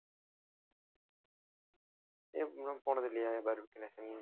ஏன் நீங்கல்லாம் போனதில்லையா பார்பக்யு நேஷன்